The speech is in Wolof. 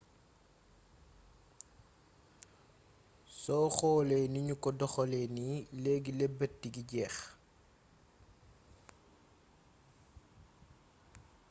soo xoolee ni ñu ko doxalee nii leegi leberti gi jeex